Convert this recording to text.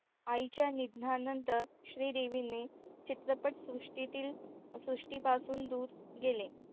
आईच्या निधनानंतर श्रीदेवीने चित्रपट सृष्टीतील सृष्टी पासून दूर गेले.